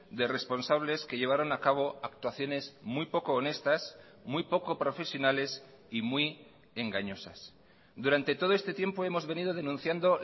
de responsables que llevaron a cabo actuaciones muy poco honestas muy poco profesionales y muy engañosas durante todo este tiempo hemos venido denunciando